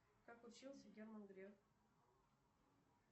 как учился герман греф